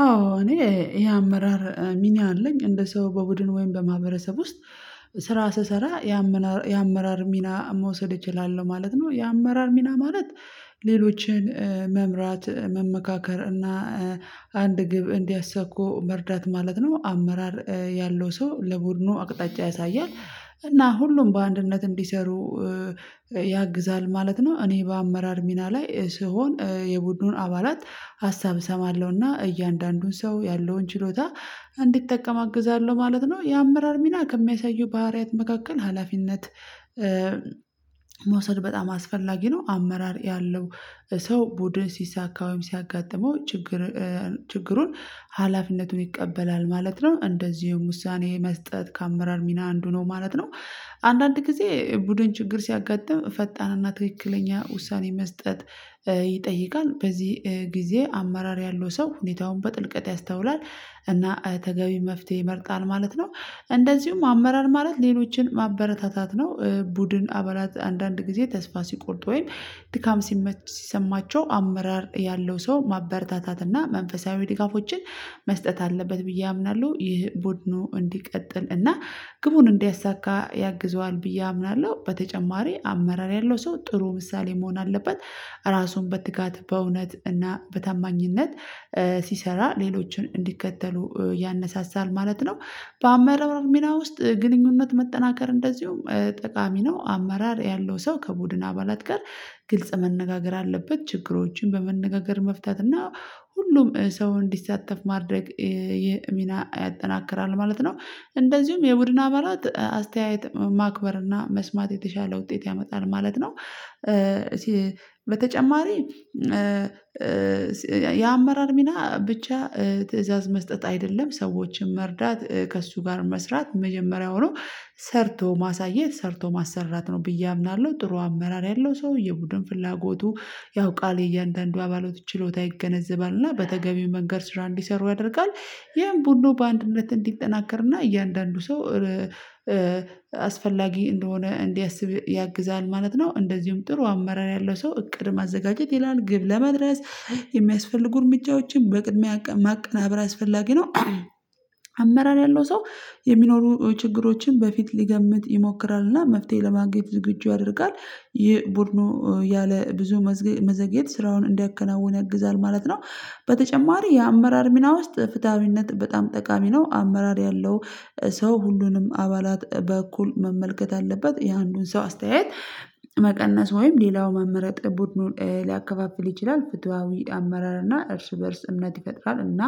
አዎ እኔ የአመራር ሚና አለኝ እንደ ሰው በቡድን ወይም በማህበረሰብ ውስጥ ስራ ስሰራ የአመራር ሚና መውሰድ እችላለሁ ማለት ነው። የአመራር ሚና ማለት ሌሎችን መምራት መመካከር እና አንድ ግብ እንዲያሳኩ መርዳት ማለት ነው። አመራር ያለው ሰው ለቡድኑ አቅጣጫ ያሳያል እና ሁሉም በአንድነት እንዲሰሩ ያግዛል ማለት ነው። እኔ በአመራር ሚና ላይ ሲሆን የቡድኑን አባላት ሀሳብ እሰማለሁና እያንዳንዱን ሰው ያለውን ችሎታ እንዲጠቀም አግዛለሁ ማለት ነው። የአመራር ሚና ከሚያሳዩ ባህሪያት መካከል ሀላፊነት መውሰድ በጣም አስፈላጊ ነው። አመራር ያለው ሰው ቡድን ሲሳካ ወይም ሲያጋጥመው ችግር ችግሩን ሀላፊነቱን ይቀበላል ማለት ነው። እንደዚሁም ውሳኔ መስጠት ከአመራር ሚና አንዱ ነው ማለት ነው። አንዳንድ ጊዜ ቡድን ችግር ሲያጋጥም ፈጣንና ትክክለኛ ውሳኔ መስጠት ይጠይቃል በዚህ ጊዜ አማራር ያለው ሰው ሁኔታውን በጥልቀት ያስተውላል እና ተገቢ መፍትሄ ይመርጣል ማለት ነው። እንደዚሁም አመራር ማለት ሌሎችን ማበረታታት ነው። ቡድን አባላት አንዳንድ ጊዜ ተስፋ ሲቆርጡ ወይም ድካም ሲሜት ሲሰማቸው አመራር ያለው ሰው ማበረታታት እና መንፈሳዊ ድጋፎችን መስጠት አለበት ብዬ አምናለሁ ይህ ቦድኑ እንዲቀጥል እና ግቡን እንዲያሳካ ያግዘዋል ብዬ አምናለሁ። በተጨማሪ አመራር ያለው ሰው ጥሩ ምሳሌ መሆን አለበት ራሱን በትጋት በእውነት እና በታማኝነት ሲሰራ ሌሎችን እንዲከተሉ ያነሳሳል ማለት ነው። በአመራር ሚና ውስጥ ግንኙነት መጠናከር እንደዚሁም ጠቃሚ ነው። አመራር ያለው ሰው ከቡድን አባላት ጋር ግልጽ መነጋገር አለበት ችግሮችን በመነጋገር መፍታት እና ሁሉም ሰው እንዲሳተፍ ማድረግ ሚና ያጠናክራል ማለት ነው። እንደዚሁም የቡድን አባላት አስተያየት ማክበር እና መስማት የተሻለ ውጤት ያመጣል ማለት ነው። በተጨማሪ የአመራር ሚና ብቻ ትእዛዝ መስጠት አይደለም ሰዎችን መርዳት ከእሱ ጋር መስራት መጀመሪያ ሆኖ ሰርቶ ማሳየት ሰርቶ ማሰራት ነው ብዬ አምናለሁ። ጥሩ አመራር ያለው ሰው የቡድን ፍላጎቱ ያው ቃል የእያንዳንዱ አባሎት ችሎታ ይገነዘባል እና በተገቢው መንገድ ስራ እንዲሰሩ ያደርጋል ይሄን ቡድኑ በአንድነት እንዲጠናከርና እያንዳንዱ ሰው አስፈላጊ እንደሆነ እንዲያስብ ያግዛል ማለት ነው። እንደዚሁም ጥሩ አመራር ያለው ሰው እቅድ ማዘጋጀት ይላል ግብ ለመድረስ የሚያስፈልጉ እርምጃዎችን በቅድሚያ ማቀናበር አስፈላጊ ነው። አመራር ያለው ሰው የሚኖሩ ችግሮችን በፊት ሊገምት ይሞክራልና መፍትሄ ለማግኘት ዝግጁ ያደርጋል ይህ ቡድኑ ያለ ብዙ መዘግየት ስራውን እንዲያከናውን ያግዛል ማለት ነው። በተጨማሪ የአመራር ሚና ውስጥ ፍትሃዊነት በጣም ጠቃሚ ነው። አመራር ያለው ሰው ሁሉንም አባላት በእኩል መመልከት አለበት የአንዱን ሰው አስተያየት መቀነስ ወይም ሌላው መምረጥ ቡድኑን ሊያከፋፍል ይችላል ፍታዊ አመራር እና እርስ በእርስ እምነት ይፈጥራል እና